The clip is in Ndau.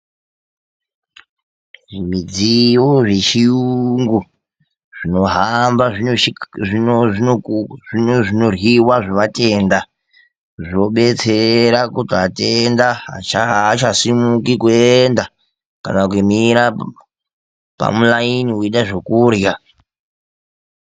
Zvimidziyo zvechiyungu zvinohamba zvino zvinoryiwa zvovatenda, zvobetsera kuti vatenda aachasimuki kuenda kana kumira pamulaini veida zvekurya.